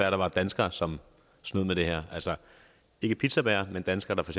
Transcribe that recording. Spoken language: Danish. at der var danskere som snød med det her altså ikke pizzabagere men danskere der for